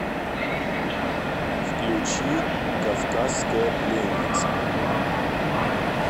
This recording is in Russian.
включи кавказская пленница